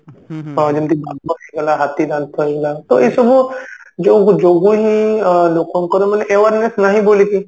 ତ ଯେମିତି ବାଘ ହେଇଗଲା ହାତୀ ଦାନ୍ତ ହେଇଗଲା ତ ଏଇ ସବୁ ଯୋଗୁ ଯୋଗୁ ହିଁ ଅ ଲୋକଙ୍କର ମାନେ awareness ନାହିଁ ବୋଲିକି